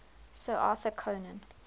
sir arthur conan